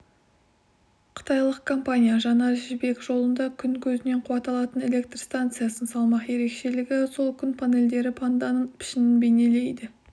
қытайлық компания жаңа жібек жолында күн көзінен қуат алатын электр станциясын салмақ ерекшелігі сол күн панельдері панданың пішінін бейнелейді